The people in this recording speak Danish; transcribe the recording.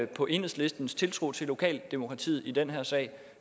på enhedslistens tiltro til lokaldemokratiet i den her sag